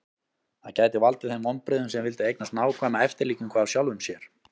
Það gæti valdið þeim vonbrigðum sem vildu eignast nákvæma eftirlíkingu af sjálfum sér.